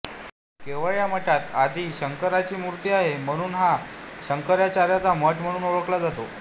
केवळ या मठात आदि शंकरार्यांची मूर्ती आहे म्हणून हा शंकराचार्यांचा मठ म्हणून ओळखला जातो